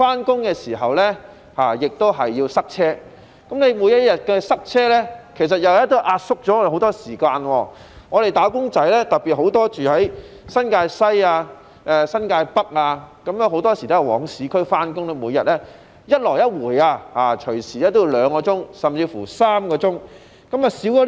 上班時亦要面對交通擠塞，每天要經歷的交通擠塞又壓縮了我們的時間，特別是居於新界西和新界北的"打工仔"，很多時候要前往市區上班，每天來回動輒也需要2小時甚至3小時。